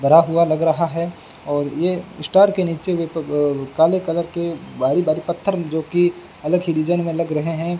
भरा हुआ लग रहा है और ये स्टेयर के नीचे भी अह काले कलर भारी भारी पत्थर जो कि अलग ही डिजाइन में लग रहे हैं।